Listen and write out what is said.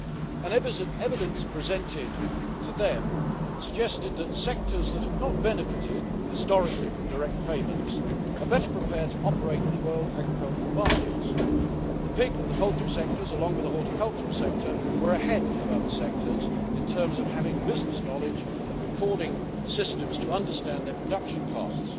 and evidence presented to them suggested that sectors that have not benefited historically from direct payments are better prepared to operate in world agricultural markets, and the pig and the poultry sectors along with a horticultural sector were ahead of other sectors in terms of having business knowledge and recording systems to understand their production costs.